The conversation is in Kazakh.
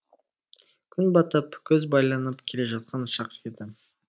күн батып көз байланып келе жатқан шақ еді